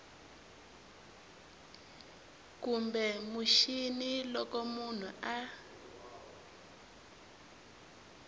kumbe mixini loko munhu a